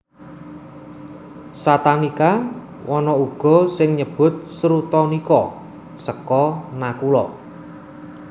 Satanika ana uga sing nyebut Srutanika seka Nakula